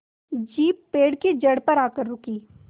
jeep पेड़ की जड़ पर आकर रुकी